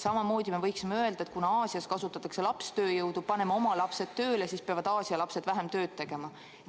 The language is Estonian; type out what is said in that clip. Samamoodi me võiksime öelda, et kuna Aasias kasutatakse lapstööjõudu, paneme oma lapsed ka tööle, siis peavad Aasia lapsed vähem tööd tegema.